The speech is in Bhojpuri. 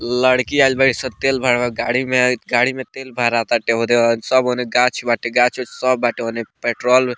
लड़की आइल बाड़ीसन तेल भरवावे गाड़ी में गाड़ी में तेल भराता सब ओन्ने गाछ-उछ सब बाटे ओने पेट्रोल --